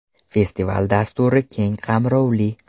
Festival dasturi keng qamrovli.